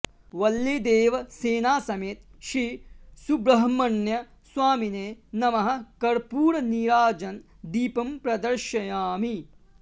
वल्लीदेवसेना समेत श्री सुब्रह्मण्य स्वामिने नमः कर्पूर नीराजन दीपं प्रदर्शयामि